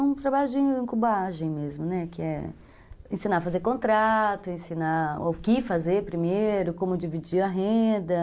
Um trabalho de incubagem mesmo, né, que é ensinar a fazer contrato, ensinar o que fazer primeiro, como dividir a renda.